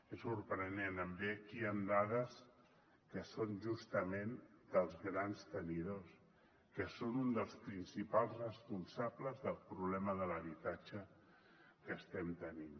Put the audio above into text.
és sorprenent em ve aquí amb dades que són justament dels grans tenidors que són un dels principals responsables del problema de l’habitatge que estem tenint